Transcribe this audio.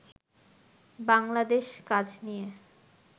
বাংলাদেশ কাজ নিয়ে